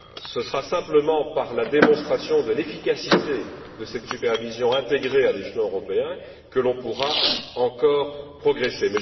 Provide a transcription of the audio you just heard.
Ce sera simplement par la démonstration de l'efficacité de cette supervision intégrée à l'échelon européen que l'on pourra encore progresser.